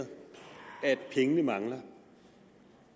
pengene mangler